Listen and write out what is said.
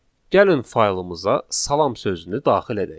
Gəlin faylımıza salam sözünü daxil edək.